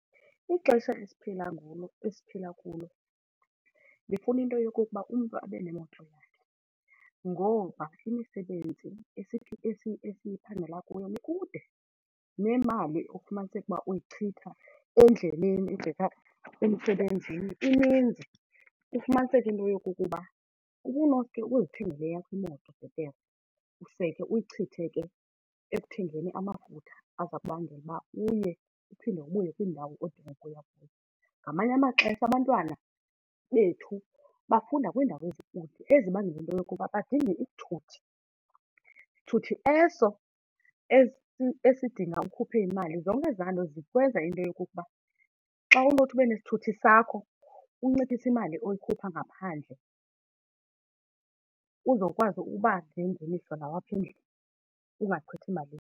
Ixesha esiphila kulo esiphila kulo lifuna into yokokuba umntu abe nemoto yakhe ngoba imisebenzi esiphangela kuyo ikude nemali ufumaniseke ukuba uyichitha endleleni ebheka emsebenzini ininzi. Ufumaniseke into yokokuba ubunoske uzithengele eyakho imoto bhetere, use ke uyichithe ke ekuthengeni amafutha aza kubangela uba uye uphinde ubuye kwindawo odinga ukuya kuyo. Ngamanye amaxesha abantwana bethu bafunda kwiindawo ezikude ezibangela into yokuba badinge isithuthi, sithuthi eso esidinga ukhuphe imali. Zonke ezaa nto zikwenza into yokokuba xa unothi ube nesithuthi sakho unciphise imali oyikhupha ngaphandle, uzokwazi ukuba nengeniso nawe apha endlini ungachithi mali.